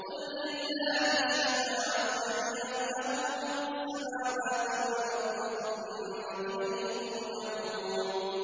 قُل لِّلَّهِ الشَّفَاعَةُ جَمِيعًا ۖ لَّهُ مُلْكُ السَّمَاوَاتِ وَالْأَرْضِ ۖ ثُمَّ إِلَيْهِ تُرْجَعُونَ